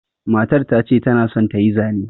Matar ta ce ta na son ta yi zane.